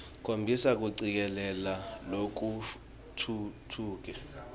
khombisa kucikelela lokutfutfuke